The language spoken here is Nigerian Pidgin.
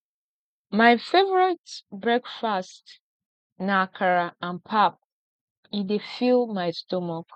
my favorite breakfast na akara and pap e dey fill my stomach